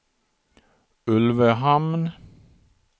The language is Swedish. Ulvöhamn